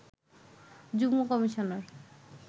যুগ্ম কমিশনার